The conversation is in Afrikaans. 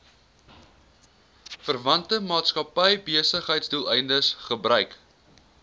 verwante maatskappybesigheidsdoeleindes gebruik